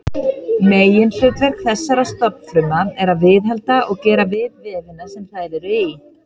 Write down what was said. Meginhlutverk þessara stofnfrumna er að viðhalda og gera við vefina sem þær eru í.